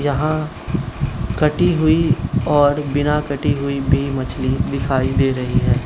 वहां कटी हुई और बिना कटी हुई भी मछली दिखाई दे रही है।